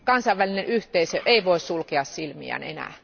Kansainvälinen yhteisö ei voi sulkea silmiään enää.